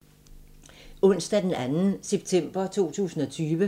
Onsdag d. 2. september 2020